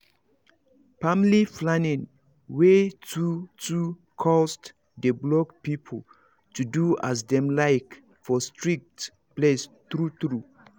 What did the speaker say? family planning wey too too cost dey block people to do as dem like for strict place true true